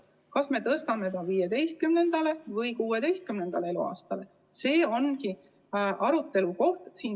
See, kas me tõstame selle 15. või 16. eluaasta peale, ongi arutelukoht.